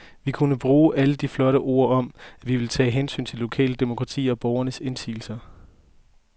Vi kunne bruge alle de flotte ord om, at vi ville tage hensyn til det lokale demokrati og borgernes indsigelser.